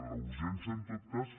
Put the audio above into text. la urgència en tot cas